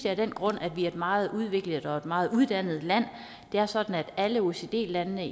af den grund at vi er et meget udviklet og meget uddannet land det er sådan at alle oecd landene